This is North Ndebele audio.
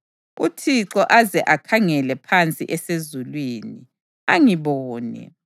UThixo aze akhangele phansi esezulwini, angibone.